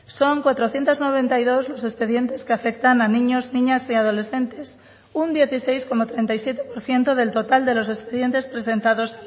son cuatrocientos noventa y dos los expedientes que afectan a niños niñas y adolescentes un dieciséis coma treinta y siete por ciento del total de los expedientes presentados